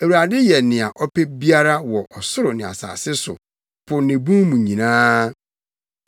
Awurade yɛ nea ɔpɛ biara wɔ ɔsoro ne asase so, po ne mu bun nyinaa.